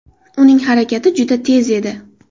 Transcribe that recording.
Uning harakati juda tez edi.